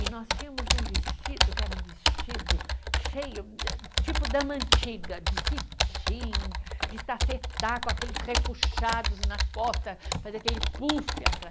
E nós tínhamos um vestido, que era um vestido cheio da, tipo dama antiga, de cetim, de tafetá, com aqueles repuxados na costa, fazia aquele puff atrás.